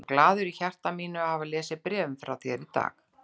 Ég er svo glaður í hjarta mínu að hafa lesið bréfin frá þér í dag.